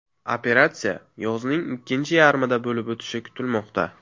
Operatsiya yozning ikkinchi yarmida bo‘lib o‘tishi kutilmoqda.